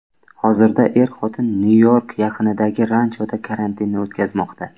Hozirda er-xotin Nyu-York yaqinidagi ranchoda karantinni o‘tkazmoqda.